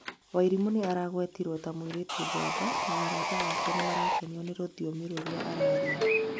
Waĩrimu aregwetire ta mũirĩtũ njamba na arata ake nĩmarakenio nĩ rũthiomi rũria araria